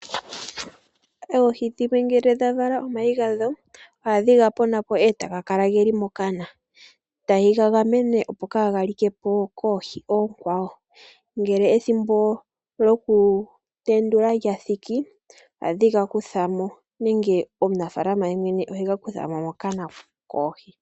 Oohi dhimwe ngele dhavala omayi gadho , ohadhi ga ponapo etaga kala geli mokana , tayi gagamene opo kaaga likepo koohi oonkwawo . Ngele ethimbo lyokutendula lyathiki ohadhi ga kuthamo nenge omunafaalama gumwe ohega kuthamo mokana koohi.